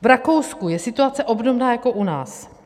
V Rakousku je situace obdobná jako u nás.